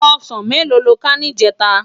Òsán méló ló ká nijètá?